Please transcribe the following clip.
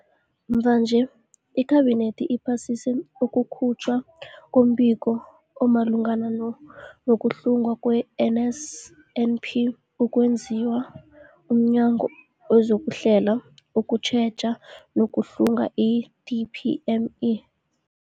Mvanje, iKhabinethi iphasise ukukhutjhwa kombiko omalungana nokuhlungwa kwe-NSNP okwenziwe mNyango wezokuHlela, ukuTjheja nokuHlunga, i-DPME.